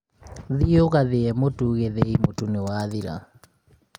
thiĩ ũgathĩithĩi mũtu gĩthĩi, mũtu nĩwathira